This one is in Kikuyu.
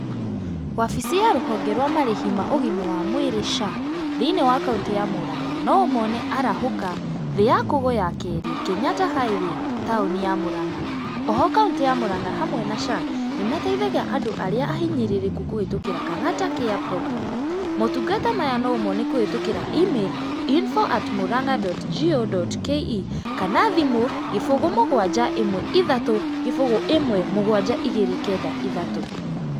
Wabici ya rũhonge rwa marĩhi ma ũgima wa mwĩrĩ SHA, thĩinĩ wa kauntĩ ya Mũrang'a, no ũmone arahũka, thĩ ya kũgũ ya kerĩ, Kenyatta highway, taũni ya Mũrang'a. O ho kauntĩ ya Mũrang'a, hamwe na SHA, nĩ mateithagia andũ arĩa ahinyĩrĩrĩku kũhĩtũkĩra Kang'ata Care Program. Maũtungata maya no ũmone kũhĩtũkĩra email, info@mũrang'a.go.ke kana thimũ, gĩbũgũ mũgwanja ĩmwe ithatũ, gĩbũgũ ĩmwe mũgwanja igĩrĩ kenda ithatũ.